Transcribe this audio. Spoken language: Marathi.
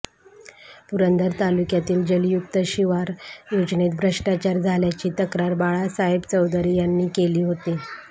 पुरंदर तालुक्यातील जलयुक्त शिवार योजनेत भ्रष्टाचार झाल्याची तक्रार बाळासाहेब चौधरी यांनी केली होती